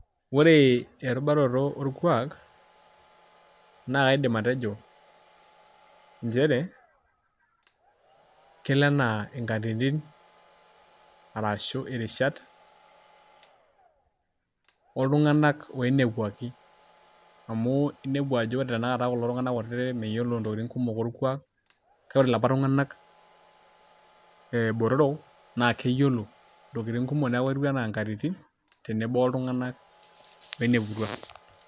Ore erubaroto olkuak, naa kaidim atejo njere, kelo enaa inkatitin arashu irishat oltungani oinepuaki amu, enepu ajo ore tanakata kuna tunganak kutiti meyiolo intokitin kumok olkuak, kake ore ilapa tunganak botoro, naa keyiolo intokitin kumok neeku ketiu enaa nkatitin tenebo oltungani oineputua.